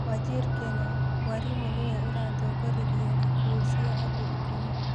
Wajir kenya: mwarimũ nĩwe uratongoririe ikuũ cia andũ ikũmi